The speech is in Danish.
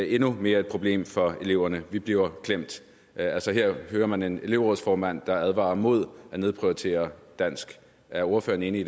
endnu mere et problem for eleverne vi bliver klemt altså her hører man en elevrådsformand der advarer mod at nedprioritere dansk er ordføreren enig